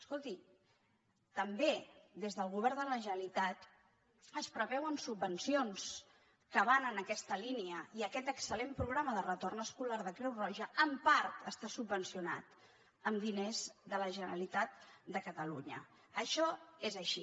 escolti també des del govern de la generalitat es preveuen subvenci·ons que van en aquesta línia i aquest excel·ma de retorn escolar de creu roja en part està sub·vencionat amb diners de la generalitat de catalunya això és així